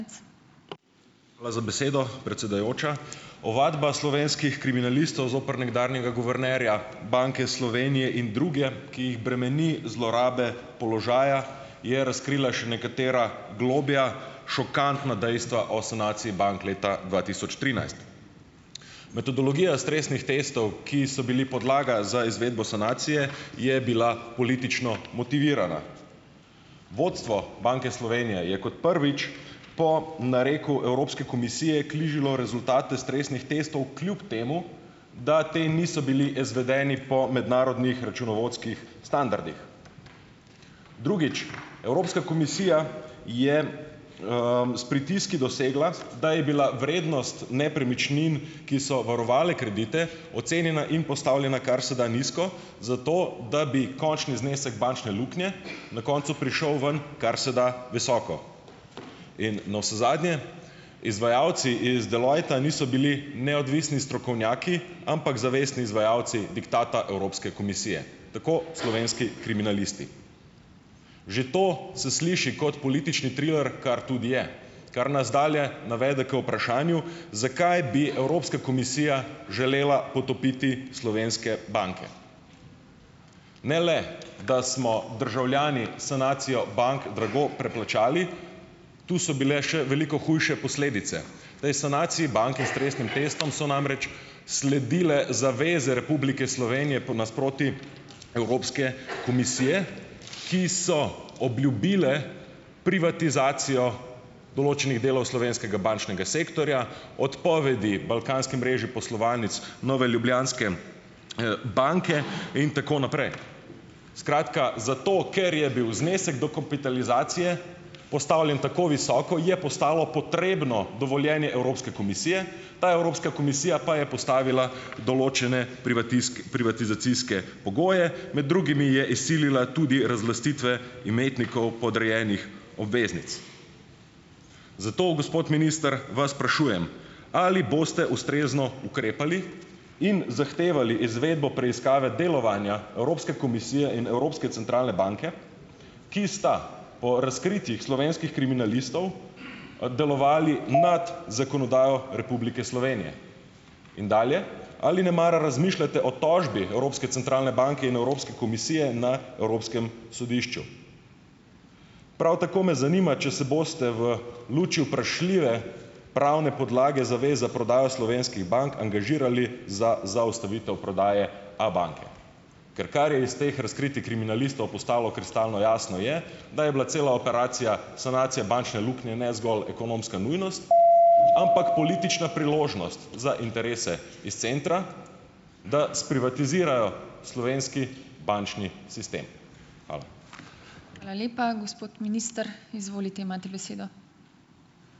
Hvala za besedo, predsedujoča. Ovadba slovenskih kriminalistov zoper nekdanjega guvernerja Banke Slovenije in druge, ki jih bremeni zlorabe položaja, je razkrila še nekatera globlja, šokantna dejstva o sanaciji bank leta dva tisoč trinajst. Metodologija stresnih testov, ki so bili podlaga za izvedbo sanacije, je bila politično motivirana. Vodstvo Banke Slovenija je kot prvič po nareku Evropske komisije rezultate stresnih testov kljub temu, da ti niso bili izvedeni po mednarodnih računovodskih standardih. Drugič. Evropska komisija je, s pritiski dosegla, da je bila vrednost nepremičnin, ki so varovale kredite, ocenjena in postavljena kar se da nizko zato, da bi končni znesek bančne luknje na koncu prišel ven kar se da visoko. In navsezadnje, izvajalci iz Deloitta niso bili neodvisni strokovnjaki, ampak zavestni izvajalci diktata Evropske komisije. Tako slovenski kriminalisti. Že to se sliši kot politični triler, kar tudi je, kar nas dalje navede k vprašanju, zakaj bi Evropska komisija želela potopiti slovenske banke. Ne le da smo državljani sanacijo bank drago preplačali, tu so bile še veliko hujše posledice. V tej sanaciji banke s stresnim testom so namreč sledile zaveze Republike Slovenije po nasproti Evropske komisije, ki so obljubile privatizacijo določenih delov slovenskega bančnega sektorja, odpovedi balkanski mreži poslovalnic Nove Ljubljanske, banke, in tako naprej. Skratka zato, ker je bil znesek dokapitalizacije postavljen tako visoko, je postalo potrebno dovoljenje Evropske komisije, ta Evropska komisija pa je postavila določene privatizacijske pogoje, med drugimi je izsilila tudi razlastitve imetnikov podrejenih obveznic. Zato, gospod minister, vas sprašujem: Ali boste ustrezno ukrepali in zahtevali izvedbo preiskave delovanja Evropske komisije in Evropske centralne banke, ki sta po razkritjih slovenskih kriminalistov, delovali nad zakonodajo Republike Slovenije? In dalje. Ali nemara razmišljate o tožbi Evropske centralne banke in Evropske komisije na Evropskem sodišču. Prav tako me zanima, če se boste v luči vprašljive pravne podlage zaveze prodajo slovenskih bank angažirali za zaustavitev prodaje Abanke. Ker kar je iz teh razkritij kriminalistov postalo kristalno jasno, je, da je bila cela operacija sanacije bančne luknje ne zgolj ekonomska nujnost, ampak politična priložnost za interese iz centra, da sprivatizirajo slovenski bančni sistem. Hvala.